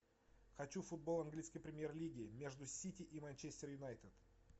хочу футбол английской премьер лиги между сити и манчестер юнайтед